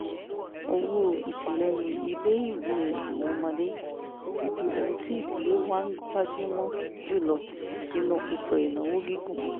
owó ìtìlẹyìn ilé-ìwé àwọn ọmọdé ti di ohun tí ìdílé wa ń gbájú mọ́ jù lọ nínú ètò ìnáwó gígùn